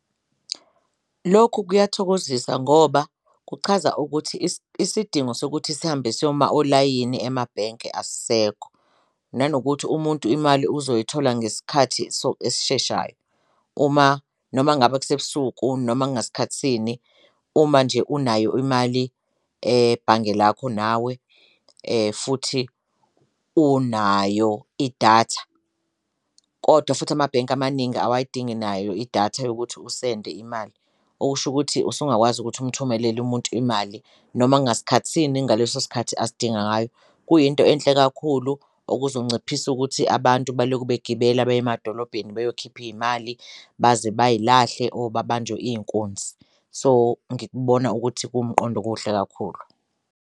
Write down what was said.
Lokhu kuyakuthokozisa ngoba kuchaza ukuthi isidingo sokuthi sihambe siyoma olayini emabhenke asisekho, nanokuthi umuntu imali uzoyithola ngesikhathi esisheshayo uma noma ngabe kusebusuku noma ngasikhathi sini, uma nje unayo imali ebhange lakho nawe futhi unayo idatha. Kodwa futhi amabhenki amaningi awayidingi nayo idatha yokuthi usende imali, okusho ukuthi usungakwazi ukuthi umthumelele umuntu imali noma kungasikhathi sini ngaleso sikhathi asidinga ngayo. Kuyinto enhle kakhulu okuzonciphisa ukuthi abantu baloku begibela baye emadolobheni beyokhipha iy'mali baze bayilahle or babanjwe iy'nkunzi. So, ngikubona ukuthi kuwumqondo omuhle kakhulu.